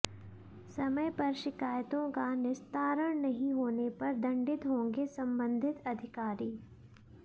समय पर शिकायतों का निस्तारण नहीं होने पर दंडित होंगे संबंधित अधिकारी